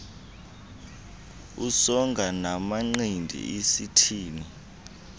usonga namanqindi usithini